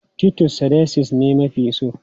Titus sardines ne na fi so.